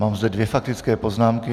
Mám zde dvě faktické poznámky.